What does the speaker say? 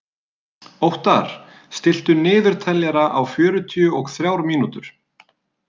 Óttar, stilltu niðurteljara á fjörutíu og þrjár mínútur.